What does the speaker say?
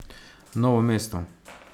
Novo mesto.